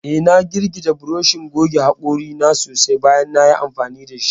Eh, na girgije burushin goge hakori na sosai bayan nayi amfani dashi.